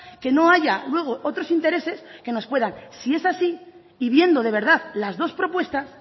que no haya luego otros intereses que nos puedan si es así y viendo de verdad las dos propuestas